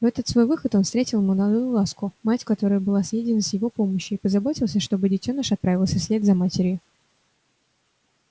в этот свой выход он встретил молодую ласку мать которой была съедена с его помощью и позаботился чтобы детёныш отправился вслед за матерью